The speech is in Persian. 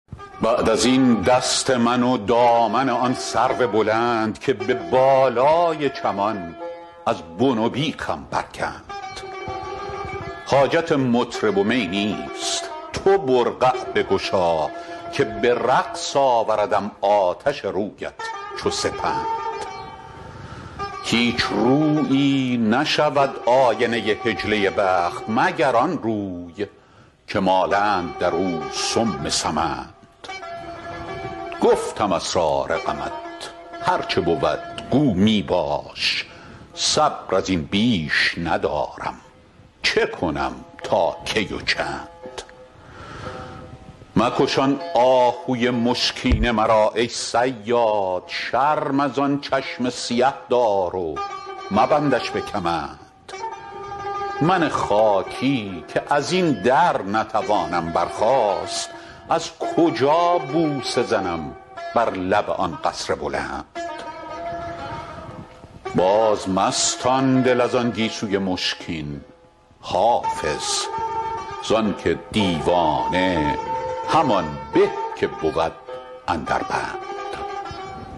بعد از این دست من و دامن آن سرو بلند که به بالای چمان از بن و بیخم برکند حاجت مطرب و می نیست تو برقع بگشا که به رقص آوردم آتش رویت چو سپند هیچ رویی نشود آینه حجله بخت مگر آن روی که مالند در آن سم سمند گفتم اسرار غمت هر چه بود گو می باش صبر از این بیش ندارم چه کنم تا کی و چند مکش آن آهوی مشکین مرا ای صیاد شرم از آن چشم سیه دار و مبندش به کمند من خاکی که از این در نتوانم برخاست از کجا بوسه زنم بر لب آن قصر بلند بازمستان دل از آن گیسوی مشکین حافظ زان که دیوانه همان به که بود اندر بند